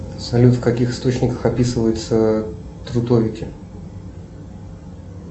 салют в каких источниках описываются трутовики